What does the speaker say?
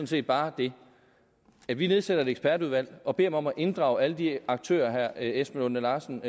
set bare den at vi nedsætter et ekspertudvalg og beder dem om at inddrage alle de aktører herre esben lunde larsen